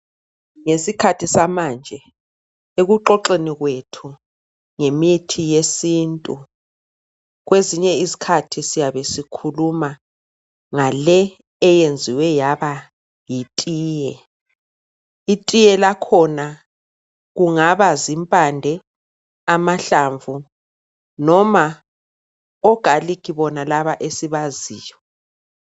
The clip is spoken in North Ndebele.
Ngesikhathi samanje ekuxoxeni kwethu ngemithi yesintu kwezinye izikhathi siyabe sikhuluma ngale eyenziwe yaba yitiye itite lakhona kungaba zimpande amahlamvu noma ogarlic bonalaba esibaziyo.